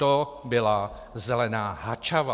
To byla zelená Hačava.